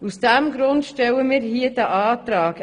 Aus diesem Grund stellen wir diesen Antrag.